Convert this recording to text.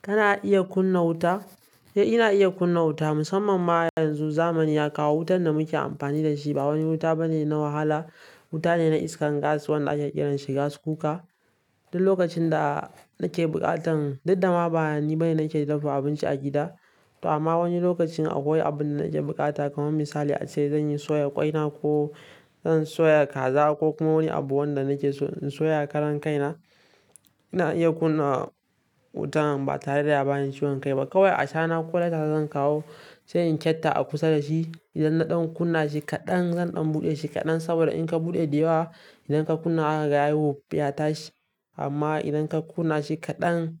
Kana iya kunna wuta? Eh ina iya kunna wuta musamman ma yanzu zamani ya kawo wutan da muke amfani da shi ba wani wuta bane na wahala, wuta ne na iskar gas wanda ake kiran shi gas cooker. Duk lokacin da nike buƙatan duk da ma bani bane nake dafa abinci a gida amma wani lokacin akwai abun da nake buƙata kamar misali ace zan yi soya ƙwaina ko zan soya kaza ko kuma wani abu wanda nake so in soya karan kaina. Ina iya kunna wutan ba tare da ya bani ciwon kai ba. Kawai ashana ko lighter zan kawo, sayin kyatta a kusa da shi. Idan na ɗan kunna shi kaɗan zan ɗan buɗe shi kaɗan saboda in ka buɗe da yawa idan ka kunna zaka ga yayi wof ya tashi. Amma idan ka kunna shi kaɗan